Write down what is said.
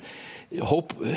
hóp